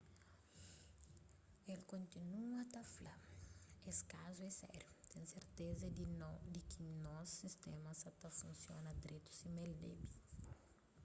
el kontinua ta fla es kazu é sériu ten serteza di ki nos sistéma sa ta funsiona dretu sima el debe